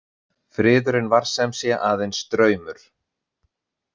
Friðurinn var sem sé aðeins draumur.